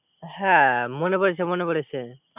হ্যা মনে পড়েছে মনে পেড়েছে